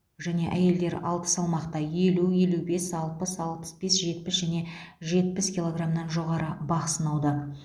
және әйелдер алты салмақта елу елу бес алпыс алпыс бес жетпіс және жетпіс килограмнан жоғары бақ сынауда